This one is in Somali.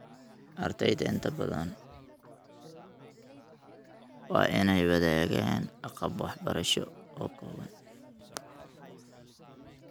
Ardayda inta badan waa inay wadaagaan agab waxbarasho oo kooban.